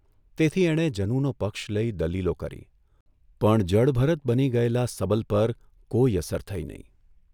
તેથી એણે જનુનો પક્ષ લઇ દલીલો કરી, પણ જડભરત બની ગયેલા સબલ પર કોઇ અસર થઇ નહીં.